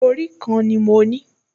Orí kan ni mo ní